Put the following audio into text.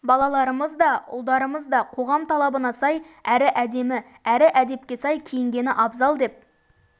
балаларымыз да ұлдарымыз да қоғам талабына сай әрі әдемі әрі әдепке сай киінгені абзал деп